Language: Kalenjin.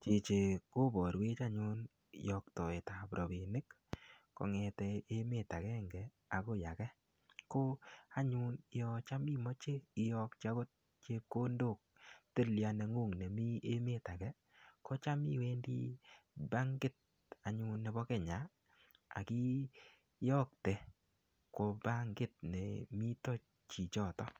Chichi koborwech anyun yoktoetab rabinik kongeten emet agenge akoi age ko anyun yon tam imoche iyoki akot chepkondok tilia nenguny nemii emet age kocham iwendii bankit anyun nebo Kenya ak iyokte kwo bankit nemiten chichoton.